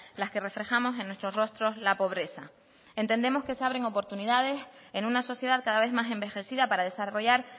las que reflejamos en nuestros rostros la pobreza entendemos que se abren oportunidades en una sociedad cada vez más envejecida para desarrollar